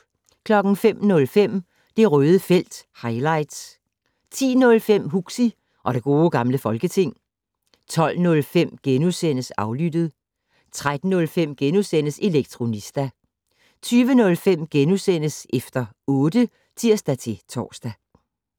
05:05: Det Røde felt - highlights 10:05: Huxi og det gode gamle folketing 12:05: Aflyttet * 13:05: Elektronista * 20:05: Efter otte *(tir-tor)